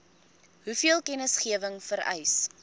hoeveel kennisgewing vereis